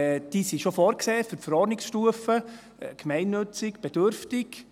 Die sind schon vorgesehen, für die Verordnungsstufe: gemeinnützig, bedürftig.